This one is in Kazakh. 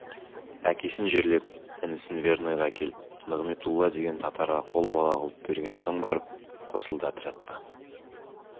әкесін жерлеп інісін верныйға әкеліп нығметулла деген татарға қол бала қылып берген соң барып қосылды отрядқа